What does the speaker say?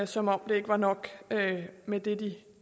som om det ikke var nok med det